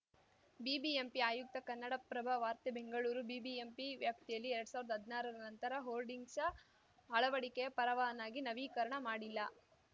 BBMP ಆಯುಕ್ತ ಕನ್ನಡಪ್ರಭ ವಾರ್ತೆ Bengaluru BBMP ವ್ಯಾಪ್ತಿಯಲ್ಲಿ ಎರಡ್ ಸಾವಿರ್ದ ಹದ್ನಾರರ ನಂತರ ಹೋರ್ಡಿಂಗ್ಸ್‌ ಅಳವಡಿಕೆಯ ಪರವಾನಗಿ ನವೀಕರಣ ಮಾಡಿಲ್ಲ